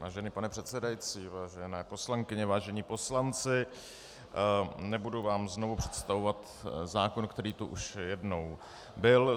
Vážený pane předsedající, vážené poslankyně, vážení poslanci, nebudu vám znovu představovat zákon, který tu už jednou byl.